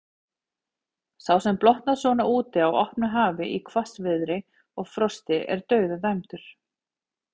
Sá sem blotnar svona úti á opnu hafi, í hvassviðri og frosti, er dauðadæmdur.